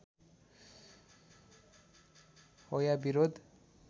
हो या विरोध